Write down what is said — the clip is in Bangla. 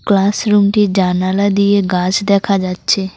ক্লাসরুম -টির জানালা দিয়ে গাছ দেখা যাচ্ছে।